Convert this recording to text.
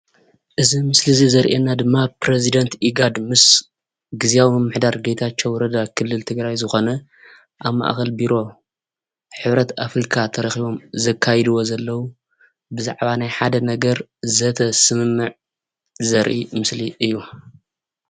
እዚ ምስሊ እዚ ዘርእየና ድማ ፕረዚደንት ኢጋድ ምስ ግዝያዊ ምምሕዳር ጌታቸው ረዳ ክልል ትግራይ ዝኮነ ኣብ ማእከል ቢሮ ሕብረት ኣፍሪካ ተረኪቦም ዘካይድዎ ዘለዉ ብዛዕባ ናይ ሓደ ነገር ዘተ ስምምዕ ዘርኢ ምስሊ እዩ፡፡